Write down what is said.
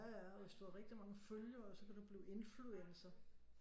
Ja ja og hvis du har rigtig mange følgere så kan du blive influencer